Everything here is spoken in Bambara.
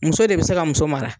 Muso de bi se ka muso mara